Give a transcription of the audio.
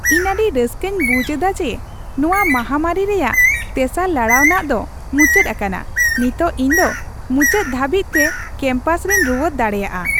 ᱤᱧ ᱟᱹᱰᱤ ᱨᱟᱹᱥᱠᱟᱹᱧ ᱵᱩᱡᱷ ᱮᱫᱟ ᱡᱮ ᱱᱚᱣᱟ ᱢᱟᱦᱟᱢᱟᱹᱨᱤ ᱨᱮᱭᱟᱜ ᱛᱮᱥᱟᱨ ᱞᱟᱲᱟᱣᱟᱱᱟᱜ ᱫᱚ ᱢᱩᱪᱟᱹᱫ ᱟᱠᱟᱱᱟ ᱾ ᱱᱤᱛᱚᱜ ᱤᱧ ᱫᱚ ᱢᱩᱪᱟᱹᱫ ᱫᱷᱟᱹᱵᱤᱡᱛᱮ ᱠᱮᱢᱯᱟᱥ ᱨᱮᱧ ᱨᱩᱣᱟᱹᱲ ᱫᱟᱲᱮᱭᱟᱜᱼᱟ ᱾